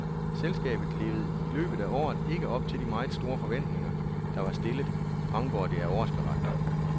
Selskabet levede i løbet af året ikke op til de meget store forventninger, der var stillet, fremgår det af årsberetningen.